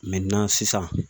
sisan